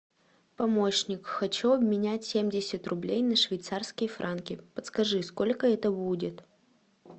помощник хочу обменять семьдесят рублей на швейцарские франки подскажи сколько это будет